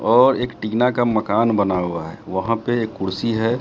और एक टीना का मकान बना हुआ है वहां पे एक कुर्सी है।